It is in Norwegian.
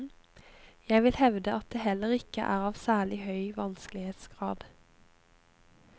Jeg vil hevde at det heller ikke er av særlig høy vanskelighetsgrad.